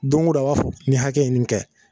Do ŋo don a b'a fɔ nin hakɛ ye nin kɛ